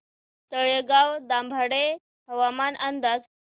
तळेगाव दाभाडे हवामान अंदाज